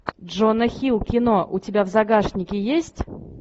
джона хилл кино у тебя в загашнике есть